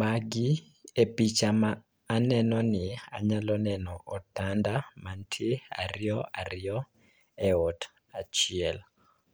Magi e picha ma anenoni anyalo neno otanda mantie ariyo ariyo e ot achiel.